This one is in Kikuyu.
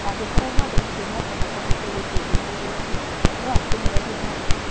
Na angĩkorwo mwandĩkĩthĩa nĩakona kĩama kĩũ gitĩethũthũrĩtĩe no akĩehererĩe marũa